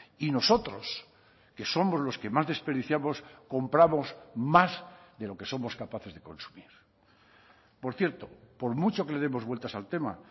y nosotros que somos los que más desperdiciamos compramos más de lo que somos capaces de consumir por cierto por mucho que le demos vueltas al tema